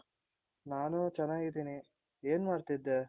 ನಾನು ಚೆನ್ನಾಗಿದೀನಿ. ಏನ್ ಮಾಡ್ತೀದ್ದೆ?